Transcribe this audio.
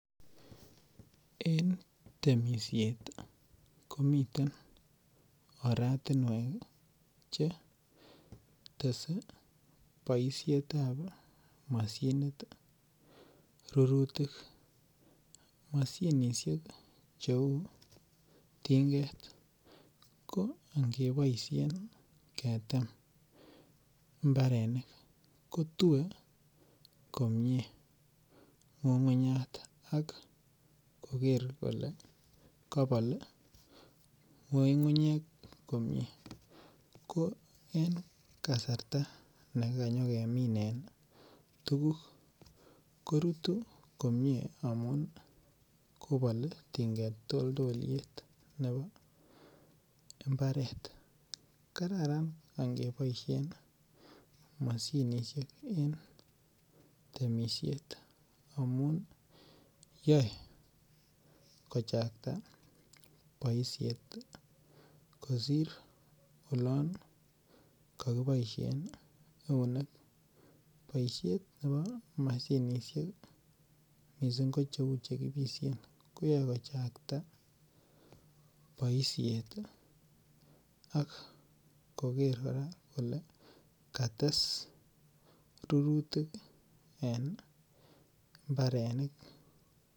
Eng' temishet komiten oratinwek chetese boishetab mashinit rurutik mashinishek cheu tinget ko ngeboishe ketem mbarenik kotue komye ng'ung'unyat akoker kole kabol ng'ung'unyek komye ko en kasarta nekanyikemine tukuk korutu komye amun kobol tinget toltolyet nebo mbaret kararan angeboishen mashinishek en temishet amu yoei kochakta boishet kosir olon kakiboishen eunek boishet nebo mashinishek mising' ko cheu chekipishen koyoei kochaktan boishet ak koker kora kole kates rurutik en imbarenik